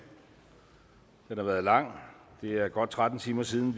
har været lang det er godt tretten timer siden